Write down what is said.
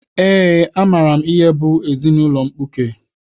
Eé, amaara m ihe bụ ezinaụlọ mkpuke